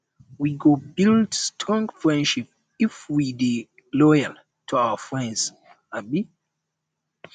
we go build strong friendship if we dey loyal to our friends um